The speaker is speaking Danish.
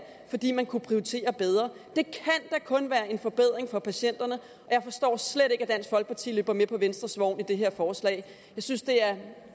fordi man kunne prioritere bedre det kan da kun være en forbedring for patienterne jeg forstår slet ikke at dansk folkeparti går med på venstres vogn hvad angår det her forslag jeg synes det er